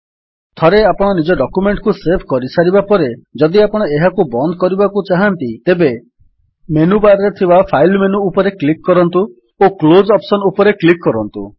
ଥରେ ଆପଣ ନିଜ ଡକ୍ୟୁମେଣ୍ଟ୍ କୁ ସେଭ୍ କରିସାରିବା ପରେ ଯଦି ଆପଣ ଏହାକୁ ବନ୍ଦ କରିବାକୁ ଚାହାଁନ୍ତି ତେବେ ମେନୁ ବାର୍ ରେ ଥିବା ଫାଇଲ୍ ମେନୁ ଉପରେ କ୍ଲିକ୍ କରନ୍ତୁ ଓ କ୍ଲୋଜ୍ ଅପ୍ସନ୍ ଉପରେ କ୍ଲିକ୍ କରନ୍ତୁ